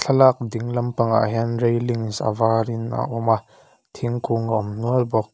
ding lampangah hian railings avar in a awm a thingkung a awm nual bawk.